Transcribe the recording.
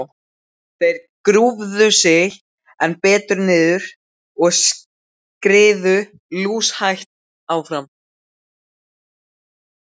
Þeir grúfðu sig enn betur niður og skriðu lúshægt áfram.